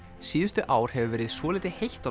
síðustu ár hefur verið svolítið heitt á